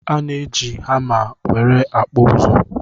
Ana eji hama nwere akpụ ụzụ